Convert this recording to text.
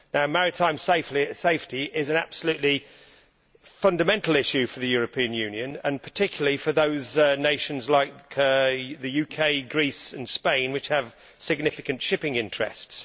Maritime safety is an absolutely fundamental issue for the European Union, and particularly for those nations like the UK, Greece and Spain which have significant shipping interests.